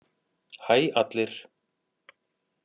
Hæ allir!